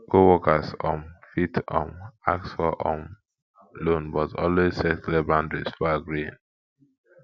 coworkers um fit um ask for um loan but always set clear boundaries before agreeing